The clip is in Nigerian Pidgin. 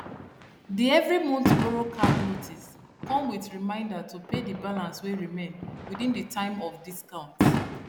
the every month borrow card notice come with reminder to pay the balance wey remain within the time of discount